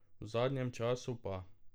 V zadnjem času pa ...